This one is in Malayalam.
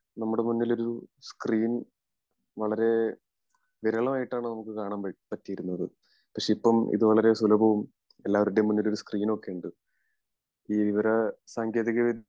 നമ്മുടെ മുന്നിലൊരു സ്ക്രീൻ വളരേ വിരളമായിട്ടാണ് നമുക്ക് കാണാൻ പറ്റിയിരുന്നത് പക്ഷെ ഇപ്പൊ ഇത് വളരേ സുലഭവും എല്ലാവരുടേം മുമ്പിൽ ഒരു സ്ക്രീൻ ഒക്കെ ഉണ്ട്. ഈ വിവര സാങ്കേതിക